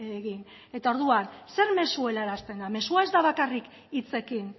egin eta orduan zer mezu helarazten da mezua ez da bakarrik hitzekin